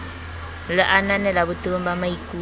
le ananela botebong ba maikut